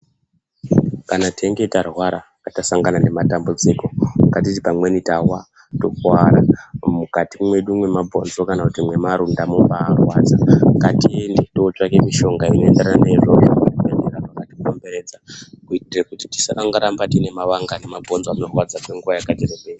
Kana teinge tarwara tasangana nematambudziko ngatiti pamweni tawa tokuwara mukati mwedu mwemabhonzo kana mwemarunda mwobaa rwadza ngatiende totsvake mushonga inoendedana neizvozvo zvekurapa matikomberedza kuitira kuti tisangoramba tine mavanga nemabhonzo anorwadza kwenguwa yakati rebei.